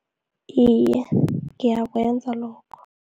Iye, ngiyakwenza lokho.